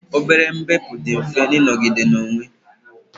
obere mbepụ dị mfe ịnọgide na-enwe